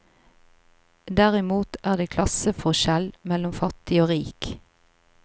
Derimot er det klasseforskjell mellom fattig og rik.